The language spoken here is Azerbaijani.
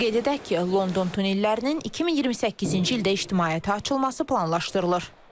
Qeyd edək ki, London tunnellərinin 2028-ci ildə ictimaiyyətə açılması planlaşdırılır.